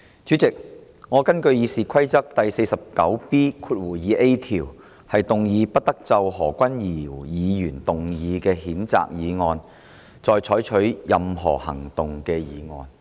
主席，我根據《議事規則》第 49B 條，動議"不得就何君堯議員動議的譴責議案再採取任何行動"的議案。